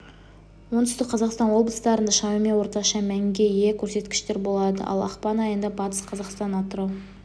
оңтүстік қазақстан облыстарында шамамен орташа мәнге ие көрсеткіштер болады ал ақпан айында батыс қазақстан атырау